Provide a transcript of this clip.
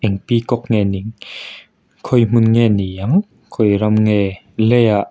peacock nge ni ang khawi hmun nge ni ang khawi ram nge lei ah--